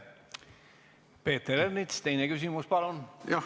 Peeter Ernits, teine küsimus, palun!